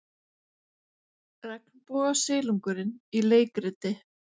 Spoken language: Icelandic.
Regnbogasilungurinn í leikriti